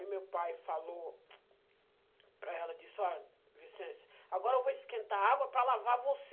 Aí meu pai falou para ela, disse, óh, Vicência, agora eu vou esquentar água para lavar você.